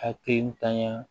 Hakilitanya